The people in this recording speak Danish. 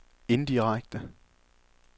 indirekte